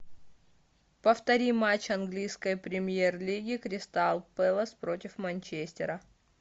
повтори матч английской премьер лиги кристал пэлас против манчестера